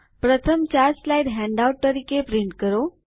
પ્રથમ ચાર slides handout તરીકે છાપો